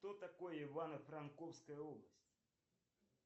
что такое ивано франковская область